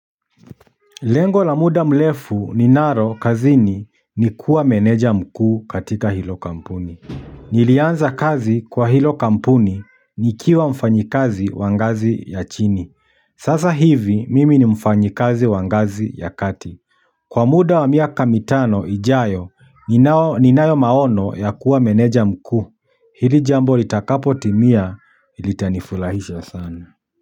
Lengo la muda mrefu ninalo kazini ni kuwa meneja mkuu katika hilo kampuni. Nilianza kazi kwa hilo kampuni nikiwa mfanyikazi wa ngazi ya chini. Sasa hivi mimi ni mfanyikazi wangazi ya kati. Kwa muda wa miaka mitano ijayo ninayo maono ya kuwa meneja mkuu. Hili jambo litakapotimia litanifurahisha sana.